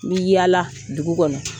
N bi yaala dugu kɔnɔ